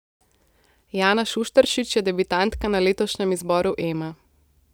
Jana Šušteršič je debitantka na letošnjem izboru Ema.